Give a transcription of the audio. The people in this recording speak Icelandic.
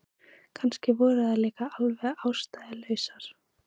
Kannski voru þær líka alveg ástæðulausar.